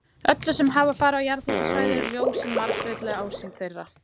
Öllum sem farið hafa um jarðhitasvæði er ljós hin margbreytilega ásýnd þeirra.